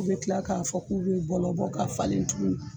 U bɛ tila k'a fɔ k'u bɔlɔbɔ k'a falen tugun